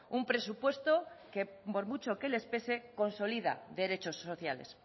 un presupuesto que por mucho que les pese consolida derechos sociales